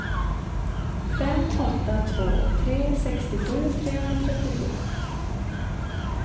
fem åtta två tre sextiosju trehundratrettiosju